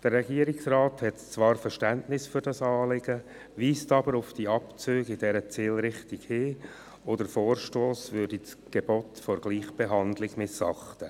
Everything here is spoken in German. Der Regierungsrat hat zwar Verständnis für dieses Anliegen, weist jedoch auf die Abzüge und deren Zielrichtung hin sowie darauf, dass der Vorstoss das Gebot der Gleichbehandlung missachte.